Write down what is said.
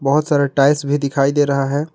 बहुत सारे टाइल्स भी दिखाई दे रहा है।